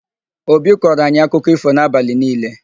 Obi kọọro anyị akụkọ ífò n'abalị niile.